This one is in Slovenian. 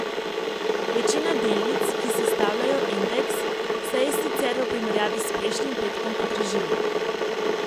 Večina delnic, ki sestavljajo indeks, se je sicer v primerjavi s prejšnjim petkom podražila.